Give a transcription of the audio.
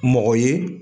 Mɔgɔ ye